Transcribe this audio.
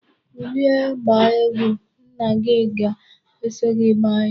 Kulie gbaa egwu. Nna gi ga-eso gi gbaa ya.